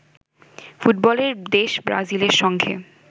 ফুটবলের দেশ ব্রাজিলের সঙ্গে